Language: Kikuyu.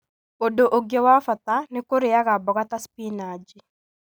Ũndũ ũngĩ wa bata nĩ kũrĩaga mboga ta spinaji.